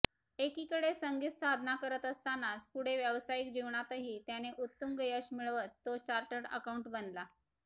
एकीकडे संगीतसाधना करत असतानाच पुढे व्यावसायिक जीवनातही त्याने उत्तु्ंग यश मिळवत तो चार्टर्ड अकाउंटंट बनला